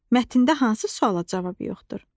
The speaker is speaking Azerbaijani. Mətndə hansı suala cavab yoxdur?